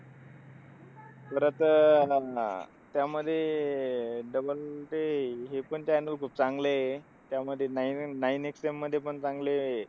तर आता अह म्हण त्यामध्ये ते हे पण channel खूप चांगलंय. त्यामध्ये nine nine XM मध्ये पण चांगले,